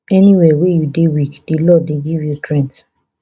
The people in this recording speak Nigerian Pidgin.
anywia wey you dey weak di lord dey give you strength